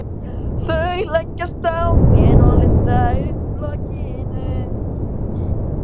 Þau leggjast á hnén og lyfta upp lokinu.